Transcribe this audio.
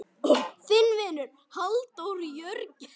Þinn vinur, Halldór Jörgen.